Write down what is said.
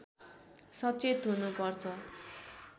सचेत हुनुपर्छ